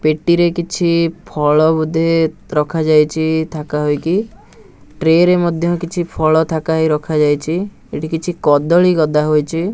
ପେଟିରେ କିଛି ଫଳ ବୋଧେ ରଖାଯାଇଛି ଥାକା ହୋଇକି ଟ୍ରେ ରେ ମଧ୍ୟ କିଛି ଫଳ ଥାକା ହେଇ ରଖାଯାଇଛି ଏଠି କିଛି କଦଳୀ ଗଦା ହୋଇଛି.